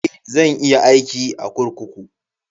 Eh, zan iya aiki a kurkuku.